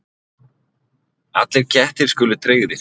Allir kettir skuli tryggðir